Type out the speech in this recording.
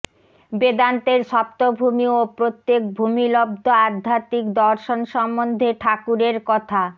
বেদান্তের সপ্তভূমি ও প্রত্যেক ভূমিলব্ধ আধ্যাত্মিক দর্শন সম্বন্ধে ঠাকুরের কথা